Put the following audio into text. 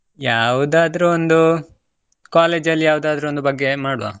ಯಾವುದಾದ್ರು ಒಂದು college ಅಲ್ಲಿ ಯಾವುದಾದ್ರು ಒಂದು ಬಗ್ಗೆ ಮಾಡುವ.